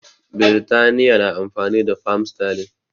Birtaniya na amfani da fam sterling